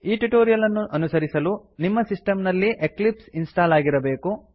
ಈ ಟ್ಯುಟೋರಿಯಲ್ ಅನ್ನು ಅನುಸರಿಸಲು ನಿಮ್ಮ ಸಿಸ್ಟಮ್ ನಲ್ಲಿ ಎಕ್ಲಿಪ್ಸ್ ಇನ್ಸ್ಟಾಲ್ ಆಗಿರಬೇಕು